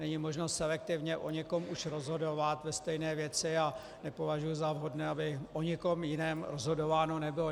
Není možno selektivně o někom už rozhodovat ve stejné věci a nepovažuji za vhodné, aby o někom jiném rozhodováno nebylo.